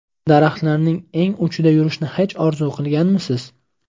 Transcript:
Daraxtlarning eng uchida yurishni hech orzu qilganmisiz?